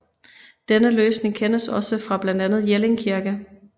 Denne løsning kendes også fra blandet Jelling Kirke